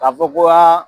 K'a fɔ ko aa